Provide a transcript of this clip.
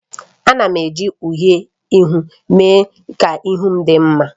Ana m eji uhiè ihu mee ka ihu m dị mma